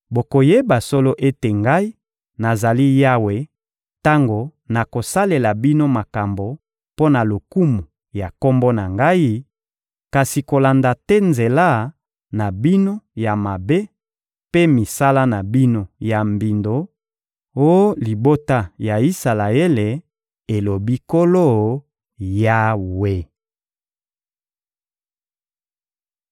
Bokoyeba solo ete Ngai, nazali Yawe tango nakosalela bino makambo mpo na lokumu ya Kombo na Ngai, kasi kolanda te nzela na bino ya mabe mpe misala na bino ya mbindo, oh libota ya Isalaele, elobi Nkolo Yawe.›»